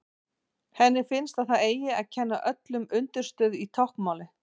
Henni finnst að það eigi að kenna öllum undirstöðu í táknmáli.